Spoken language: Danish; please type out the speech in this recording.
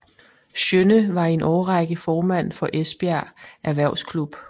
Sjønne var i en årrække formand for Esbjerg Erhvervsklub